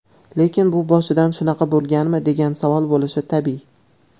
Lekin bu boshidan shunaqa bo‘lganmi, degan savol bo‘lishi tabiiy.